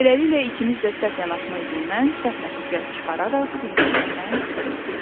Beləliklə, ikimiz də səhv yanaşma üzündən səhv nəticə çıxararaq bir-birimizdən küsdük.